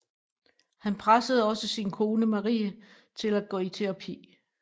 Han pressede også sin kone Marie til at gå i terapi